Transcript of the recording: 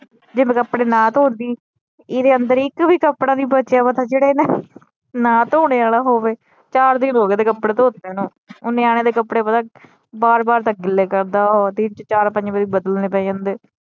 ਜੇ ਮੈ ਕਪੜੇ ਨਾ ਧੋਂਦੀ ਏਦੇ ਅੰਦਰ ਇਕ ਵੀ ਕਪੜਾ ਨਹੀਂ ਬਚਿਆ ਮਤਲਬ ਜਿਹੜਾ ਏਦੇ ਨਾ ਧੋਣੇ ਆਲਾ ਹੋਵੇ ਚਾਰ ਦਿਨ ਹੋਗੇ ਏਦੇ ਕੱਪੜੇ ਧੋਤਿਆ ਨੂੰ ਉਹ ਨਿਆਣਿਆਂ ਦੇ ਕੱਪੜੇ ਪਤਾ ਬਾਰ ਬਾਰ ਤਾ ਗਿਲੇ ਕਰਦਾ ਉਹ ਦਿਨ ਚ ਚਾਰ ਪੰਜ ਵਾਰੀ ਬਦਲਣੇ ਪੈ ਜਾਂਦੇ।